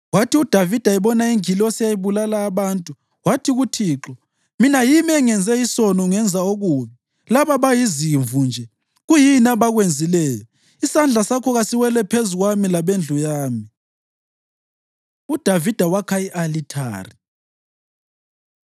Kwathi uDavida ebona ingilosi eyayibulala abantu, wathi kuThixo, “Mina yimi engenze isono ngenza okubi. Laba bayizimvu nje. Kuyini abakwenzileyo? Isandla sakho kasiwele phezu kwami labendlu yami.” UDavida Wakha I-Alithari